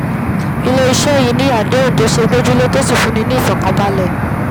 ilé-iṣẹ́ yìí sì ni àdéhùn tó ṣe é gbójúlé tó sì fúnni ní ìfọ̀kànbalẹ̀